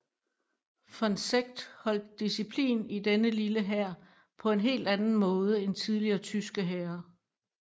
Von Seeckt holdt disciplin i denne lille hær på en helt anden måde end tidligere tyske hære